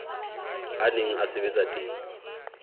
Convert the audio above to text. a neng a sebetsa teng